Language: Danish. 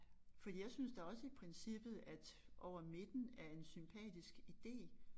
Fordi jeg synes da også i princippet at over midten er en sympatisk ide